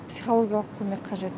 психологиялық көмек қажет